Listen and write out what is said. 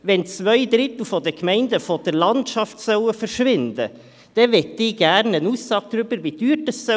Wenn zwei Drittel der Gemeinden von der Landschaft verschwinden sollen, möchte ich gerne eine Aussage darüber, wie teuer das ist.